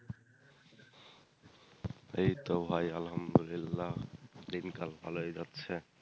এইতো ভাই আলহামদুলিল্লাহ, দিনকাল ভালোই যাচ্ছে।